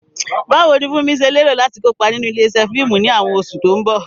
Báwo ni Funmi ṣe lérò láti kópa nínú ilé-iṣẹ́ fíìmù ní àwọn oṣù tó ń bọ̀?